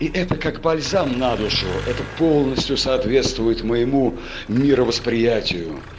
и это как бальзам на душу это полностью соответствует моему мировосприятию